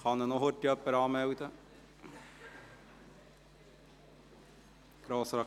Kann ihn bitte noch jemand anmelden?